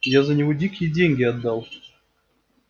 я за него дикие деньги отдал